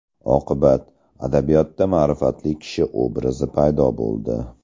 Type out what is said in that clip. Oqibat – adabiyotda ma’rifatli kishi obrazi paydo bo‘ldi.